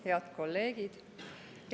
Head kolleegid!